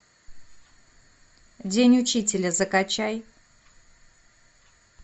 день учителя закачай